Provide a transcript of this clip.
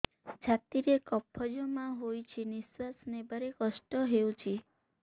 ଛାତିରେ କଫ ଜମା ହୋଇଛି ନିଶ୍ୱାସ ନେବାରେ କଷ୍ଟ ହେଉଛି